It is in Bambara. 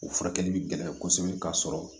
O furakɛli bi gɛlɛya kosɛbɛ ka sɔrɔ